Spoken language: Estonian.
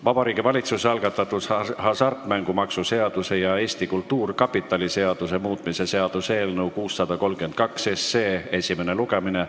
Vabariigi Valitsuse algatatud hasartmängumaksu seaduse ja Eesti Kultuurkapitali seaduse muutmise seaduse eelnõu 632 esimene lugemine.